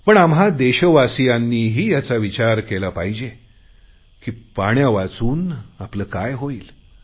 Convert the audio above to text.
पण आम्हा देशवासियांनीही विचार केला पाहिजे की पाण्यावाचून आपले काय होईल